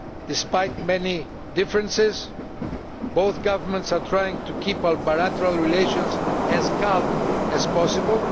Despite many differences, both governments are trying to keep bilateral relations as calm as possible.